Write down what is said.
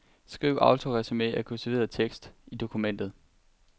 Skriv autoresumé af kursiveret tekst i dokumentet.